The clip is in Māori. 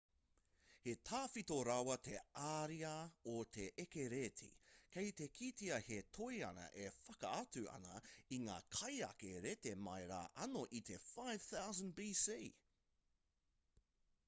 he tawhito rawa te ariā o te eke rēti kei te kitea he toi ana e whakaatu ana i ngā kaieke rēti mai rā anō i te 5000 bc